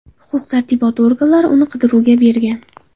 Huquq-tartibot organlari uni qidiruvga bergan.